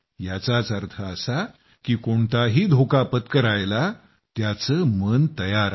याचाच अर्थ असा की कोणताही धोका पत्करायला त्याचं मन तयार आहे